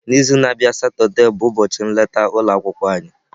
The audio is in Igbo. N'izu na-abịa Satọde bụ ụbọchị nleta ụlọ akwụkwọ anyị.